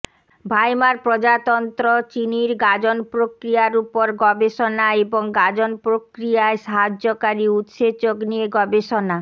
ভাইমার প্রজাতন্ত্র চিনির গাঁজন প্রক্রিয়ার উপর গবেষণা এবং গাঁজন প্রক্রিয়ায় সাহায্যকারী উৎসেচক নিয়ে গবেষণা